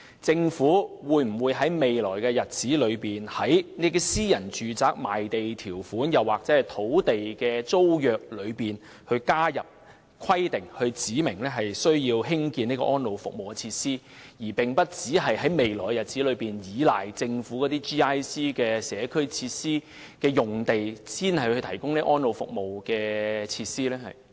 在未來的日子，政府會否在私人住宅賣地條款或土地租約中加入必須興建安老服務設施的規定，而並非單靠在"政府、機構或社區"用地提供安老服務設施？